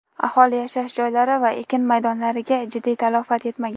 aholi yashash joylari va ekin maydonlariga jiddiy talafot yetmagan.